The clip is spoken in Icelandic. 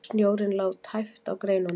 Snjórinn lá tæpt á greinunum.